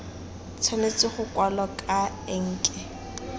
tshwanetse go kwalwa ka enke